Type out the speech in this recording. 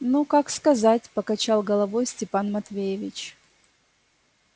ну как сказать покачал головой степан матвеевич